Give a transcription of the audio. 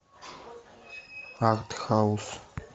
арт хаус